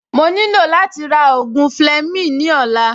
Mo nílò láti ra ògùn Fleming ní ọ̀la